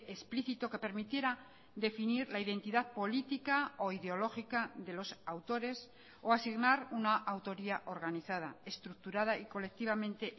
explícito que permitiera definir la identidad política o ideológica de los autores o asignar una autoría organizada estructurada y colectivamente